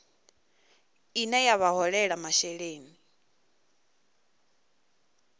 ine ya vha holela masheleni